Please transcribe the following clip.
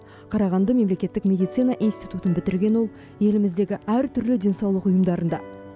қарағанды мемлекеттік медицина институтын бітірген ол еліміздегі әртүрлі денсаулық ұйымдарында